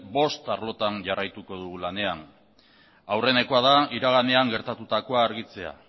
bost arlotan jarraituko dugu lanean aurrenekoa da iraganean gertatutako da argitzea